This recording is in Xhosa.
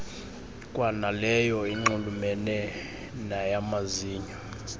kwanaleyo inxulumene nayamazinyo